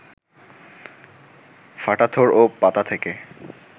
ফাটা থোড় ও পাতা থেকে